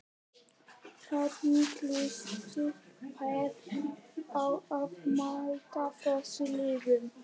Hvernig líst þér á að mæta þessum liðum?